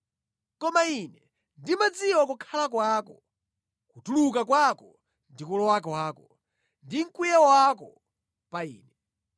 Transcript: “ ‘Koma Ine ndimadziwa kukhala kwako, kutuluka kwako ndi kulowa kwako, ndi mkwiyo wako pa Ine.